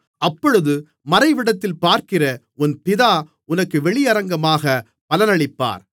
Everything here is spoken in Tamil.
அப்பொழுது மறைவிடத்தில் பார்க்கிற உன் பிதா உனக்கு வெளியரங்கமாகப் பலனளிப்பார்